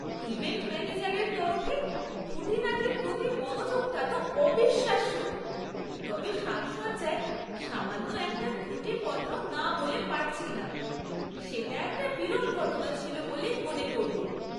Event ম্যানেজারের তরফে খুঁটিনাটির প্রতি মনোযোগটা তো অবিশ্বাস্য, তবে সাজসজ্জায় সামান্য একটা ত্রুটির কথাও না বলে পারছি না। সেটা একটা বিরল ঘটনা ছিল বলেই মনে করব।